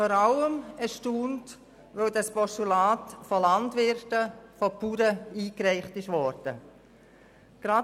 Vor allem bin ich erstaunt, weil dieses Postulat von Landwirten, von Bauern, eingereicht worden ist.